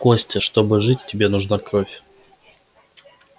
костя чтобы жить тебе нужна кровь